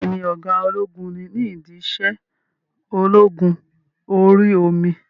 Bẹ́ẹ̀ni, ọ̀gá ológun ni ní ìdí iṣẹ́ ológun orí omi?